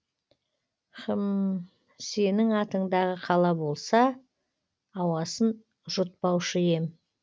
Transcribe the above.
хм сенің атыңдағы қала болса ауасын жұтпаушы ем